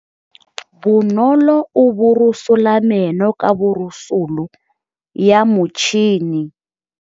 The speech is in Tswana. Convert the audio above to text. Bonolô o borosola meno ka borosolo ya motšhine.